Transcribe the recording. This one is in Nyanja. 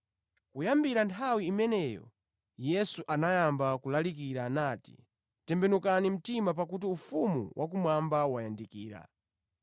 Kuyambira nthawi imeneyo, Yesu anayamba kulalikira nati, “Tembenukani mtima ufumu wakumwamba wayandikira.”